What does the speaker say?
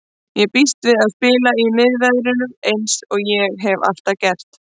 Ég býst við að spila í miðverðinum eins og ég hef alltaf gert.